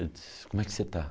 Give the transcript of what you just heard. Eu disse, como é que você está?